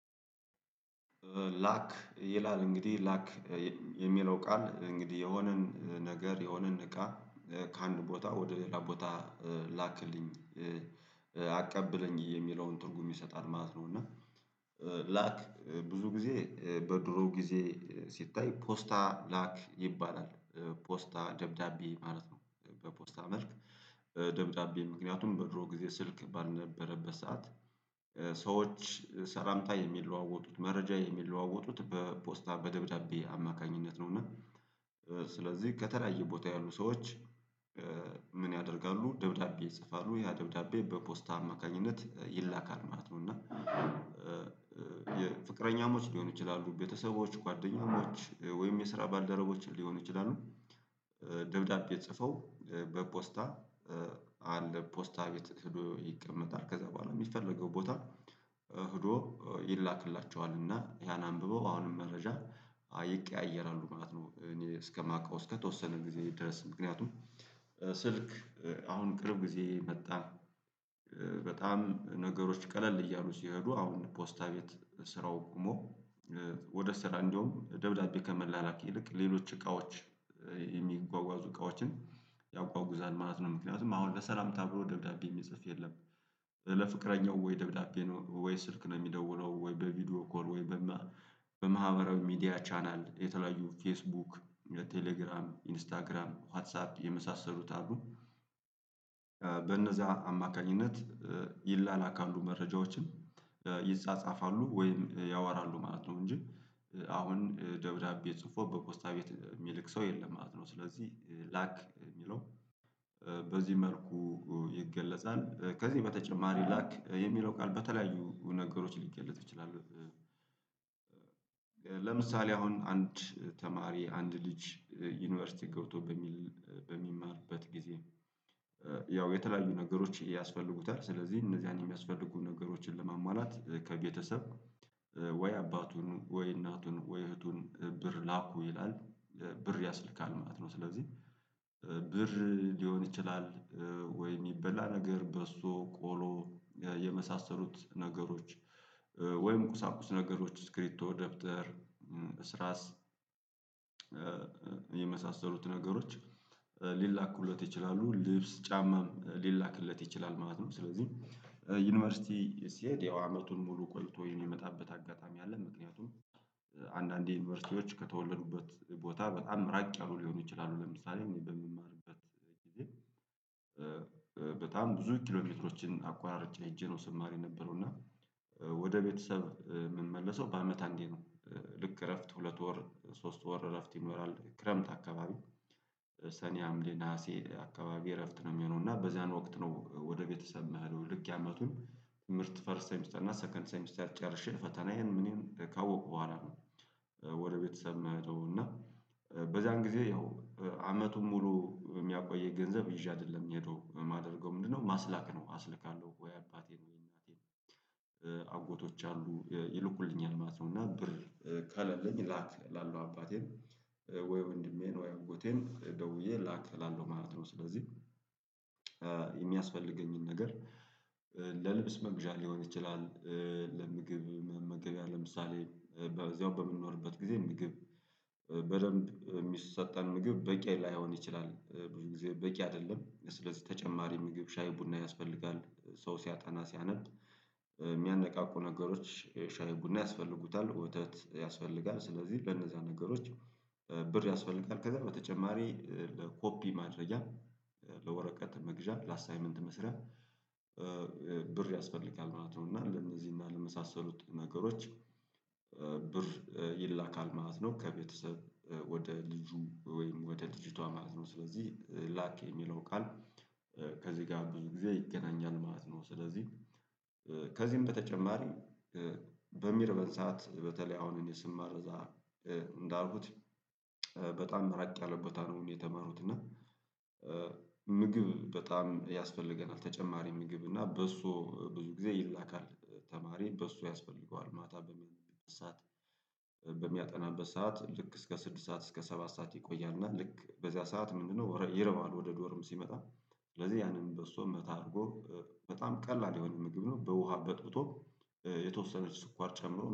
ላክ ይላል እንግዲህ። ላክ የሚለው ቃል እንግዲህ የሆነን ነገር የሆነን እቃ ከአንድ ቦታ ወደ ሌላ ቦታ ላክልኝ። አቀብለኝ የሚለውን ትርጉም ይሰጣል ማለት ነው፤ እና ላክ ብዙ ጊዜ በድሮ ጊዜ ሲታይ ፖስታ ላክ ይባላል። ፖስታ ደብዳቤ ማለት ነው። በፖስታ መልክ ደብዳቤ ምክንያቱም በድሮ ጊዜ ስልክ ባልነበረበት ሰዓት ሰዎች ሰላምታ የሚለዋወጡት መረጃ የሚለዋወጡት በፖስታ በደብዳቤ አማካኝነት ነው፤ እና ስለዚህ ከተለያየ ቦታ ያሉ ሰዎች ምን ያደርጋሉ ደብዳቤ ይጽፋሉ ያ ደብዳቤ በፖስታ አማካኝነት ይላካል ማለት ነው፤ እና የፍቅረኛሞች ሊሆኑ ይችላሉ፣ ቤተሰቦች ጓደኛሞች ወይም የስራ ባልደረቦችን ሊሆኑ ይችላሉ። ደብዳቤ ጽፈው በፖስታ አለ ፖስታ ቤት ሄዶ ይቀመጣል። ከዛ በኋላ የሚፈለገው ቦታ ሄዶ ይላክላቸዋል እና ያን አንብበው አሁንም መረጃ ይቀያየራሉ ማለት ነው እኔ እስከማውቀው እስከተወሰነ ጊዜ ደርስ ምክንያቱም ስልክ አሁን ቅርብ ጊዜ መጣ በጣም ነገሮች ቀለል እያሉ ሲሄዱ አሁን ፖስታ ቤት ስራው ቁሞ ወደ ስራ እንደውም ደብዳቤ ከመላላክ ይልቅ ሌሎች እቃዎች የሚጓጓዙ እቃዎችን ያጓጉዛል ማለት ነው። ምክንያቱም አሁን ለሰላምታ ብሎ ደብዳቤ የሚጽፍ የለም። ለፍቅረኛው ወይ ደብዳቤ ነው ወይ ስልክ ነው የሚደውለው ወይ በቪዲዮ ኮል ወይ በማህበራዊ ሚዲያ ቻናል የተለያዩ ፌስቡክ፣ ለቴሌግራም፣ ኢንስታግራም፣ ዋትሳፕ፣ የመሳሰሉት አሉ። በእነዛ አማካኝነት ይላላካሉ መረጃዎችን ይጻጻፋሉ ወይም ያወራሉ ማለት ነው፤ እንጂ አሁን ደብዳቤ ጽፎ በፖስታ ቤት የሚልክ ሰው የለም ማለት ነው። ስለዚህ ላክ የሚለው በዚህ መልኩ ይገለጻል ከዚህ በተጨማሪ ላክ የሚለው ቃል በተለያዩ ነገሮች ሊገለጹ ይችላሉ። ለምሳሌ አሁን አንድ ተማሪ አንድ ልጅ ዩኒቨርሲቲ ገብቶ በሚል በሚማርበት ጊዜ ያው የተለያዩ ነገሮች ያስፈልጉታል ስለዚህ እነዚያን የሚያስፈልጉ ነገሮችን ለመሟላት ከቤተሰብ ወይ አባቱን ወይ እናቱን ወይ እህቱን ብር ላኩ ይላል፤ ብር ያስልካል ማለት ነው። ስለዚህ ብር ሊሆን ይችላል ወይ የሚበላ ነገር በሶ፣ ቆሎ የመሳሰሉት ነገሮች ወይም ቁሳቁስ ነገሮች ስክሪብቶ፣ ደብተር፣ እስራስ የመሳሰሉት ነገሮች ሊላኩለት ይችላሉ። ልብስ ጫማም ሊላክለት ይችላል ማለት ነው። ስለዚህ ዩኒቨርሲቲ ሲሄድ ያው አመቱን ሙሉ ቆይቶ የሚመጣበት አጋጣሚ አለ። ምክንያቱም አንዳንዴ ዩኒቨርሲቲዎች ከተወለዱበት ቦታ በጣም ራቅ ያሉ ሊሆኑ ይችላሉ። ለምሳሌ እኔ በምማርበት ጊዜ በጣም ብዙ ኪሎሜትሮችን አቋርጬ ሄጄ ነው ስማሬ የነበረው፤ እና ወደ ቤተሰብ የምመለሰው በአመት አንዴ ነው። ልክ እረፍት ሁለት ወር ሶስት ወር እረፍት ይኖራል ክረምት አካባቢ ሰኔ፣ ሀምሌ፣ ነሀሴ አካባቢ እረፍት ነው የሚሆነው፤ እና በዛን ወቅት ነው ወደ ቤተሰብ ምሄደው ልክ የአመቱን ትምህርት ፈርስት ሴሚስተር እና ሰከንድ ሴሚስተር ጨርሼ ፈተናዬን ምኔን ካወኩ በኋላ ነው ወደ ቤተሰብ ምሄደው እና በዛን ጊዜ ያው አመቱን ሙሉ የሚያቆየኝ ገንዘብ ይዤ አይደለም ምሄደው የማደርገው ምንድነው ማስላክ ነው አስልካለሁ ወይ አባቴን ወይ እናቴን፣ አጎቶች አሉ ይልኩልኛል ማለት ነው፤ እና ብር ከሌለኝ ላክ እላለው አባቴን ወይ ወንድሜን ወይ አጎቴን ደውዬ ላክ እላለው ማለት ነው። ስለዚህ የሚያስፈልገኝን ነገር ለልብስ መግዣ ሊሆን ይችላል። ለምግብ መመገቢያ ለምሳሌ በዚያው በምንኖርበት ጊዜ ምግብ በደንብ የሚሰጠን ምግብ በቂ ላይሆን ይችላል ብዙ ጊዜ በቂ አይደለም። ስለዚህ ተጨማሪ ምግብ ሻይ ቡና ያስፈልጋል ሰው ሲያጠና ሲያነብ የሚያነቃቁ ነገሮች ሻይ ቡና ያስፈልጉታል፤ ወተት ያስፈልጋል፣ ስለዚህ ለነዛ ነገሮች ብር ያስፈልጋል። ከዛ በተጨማሪ ለኮፒ ማድረጊያ፣ ለወረቀት መግዣ፣ ለአሳይመንት መስሪያ ብር ያስፈልጋል ማለት ነው፤ እና ለእነዚህ እና ለመሳሰሉት ነገሮች ብር ይላካል ማለት ነው ከቤተሰብ ወደ ልጁ ወይም ወደ ልጅቷ ማለት ነው ስለዚህ ላክ የሚለው ቃል ከዚህ ጋር ብዙ ጊዜ ይገናኛል ማለት ነው። ስለዚህ ከዚህም በተጨማሪ በሚርበን ሰዓት በተለይ አሁን እኔ ስማር እዛ እንዳልኩት በጣም ራቅ ያለ ቦታ ነው የተማሩት እና ምግብ በጣም ያስፈልገናል ተጨማሪ ምግብ እና በሶ ብዙ ጊዜ ይላካል። ተማሪ በሶ ያስፈልገዋል ማታ በሚያነብበት ሰዓት በሚያጠናበት ሰዓት ልክ እስከ ስድስት ሰዓት እስከ ሰባት ሰዓት ይቆያል እና ልክ በዚያ ሰዓት ምንድነው ይርበዋል ወደ ዶርም ሲመጣ ስለዚህ ያንን በሶ መታ አድርጎ በጣም ቀላል የሆነ ምግብ ነው በውሃ በጥብጦ የተወሰነች ስኳር ጨምሮ